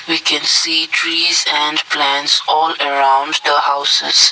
we can see trees and plants all around the houses.